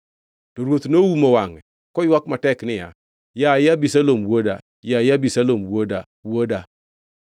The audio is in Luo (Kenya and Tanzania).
To ruoth noumo wangʼe, koywak matek niya, “Yaye Abisalom wuoda! Yaye Abisalom wuoda, wuoda!”